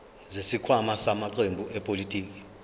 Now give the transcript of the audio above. zesikhwama samaqembu ezepolitiki